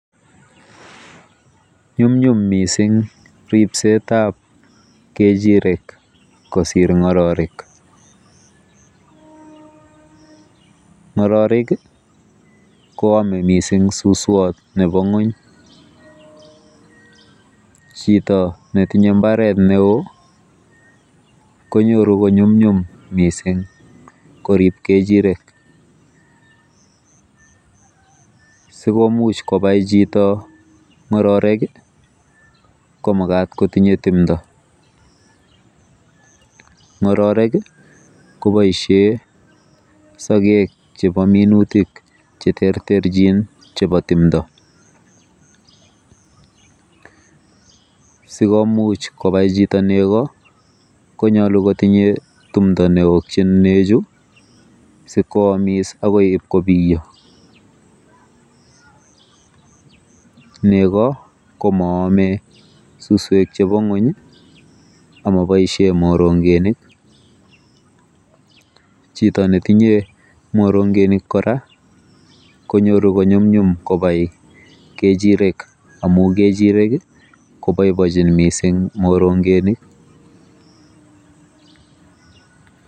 Ny'umny'um missing ripset ab kechiret kosir ng'ororek, ng'ororek i koome missing suswot nebo ng'weny ,chito netinye imbaret neo konyoru kony'umny'um korib kechirek ,sikobit kotinye chito ng'ororek ii komagat kotinye timdo, ng'ororek ii koboisien sokek chebo minutik cheterterchin chebo timdo, sikomuch kobai chito kobai nego konyolu kotinye tumdo neyotjin newokyin nechu sikwamis agoi kobiyo, nego komoome suswek chebo ny'weny ak moboisien moronge'nik, chito netinye morong'enik kora konyoru kony'umny'um kechirek amun kechirek koboiboenjin missing morong'enik,